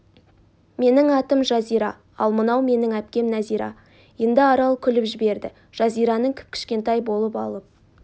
менің атым жазира ал мынау менің әпкем нәзира енді арал күліп жіберді жазираның кіп-кішкентай болып алып